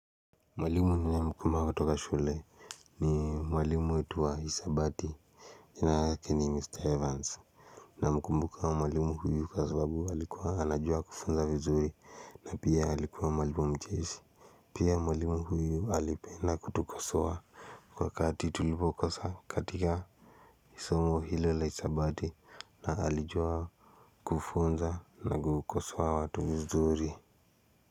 Mwalimu ninayemkumbuka kutoka shuleni ni mwalimu wetu wa hisabati. Jina yake ni Mr Evans. Namkumbuka mwalimu huyu kwa sababu alikuwa anajua kufunza vizuri. Na pia alikuwa mwalimu mcheshi. Pia mwalimu huyu alipenda kutukosoa. Wakati tulipokosa katika somo ile la hisabati na alijua kufunza na kukosoa watu vizuri.